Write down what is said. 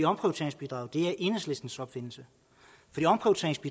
omprioriteringsbidraget er enhedslistens opfindelse